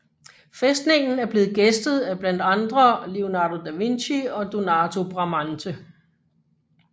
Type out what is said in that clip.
Fæstningen er blevet gæstet af blandt andre Leonardo da Vinci og Donato Bramante